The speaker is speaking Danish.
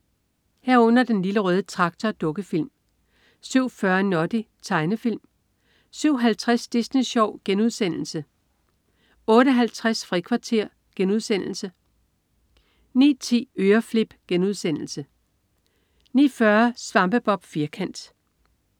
07.30 Den Lille Røde Traktor. Dukkefilm 07.40 Noddy. Tegnefilm 07.50 Disney Sjov.* Tegnefilm * 08.50 Frikvarter.* Tegnefilm 09.10 Øreflip* 09.40 Svampebob Firkant*